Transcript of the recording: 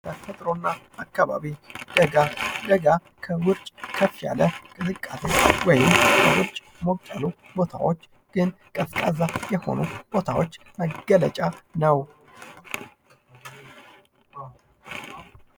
ተፈጥሮና አካባቢ ደጋ ደጋ ከወርጭ ከፍ ያለ ቅዝቃዜ ወይን ውጭ ሞቅ ያሉ ቦታዎች ግን ቀዝቃዛ የሆኑ ቦታዎች መገለጫ ነው።